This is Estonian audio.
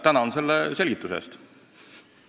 Tänan selle selgituse eest!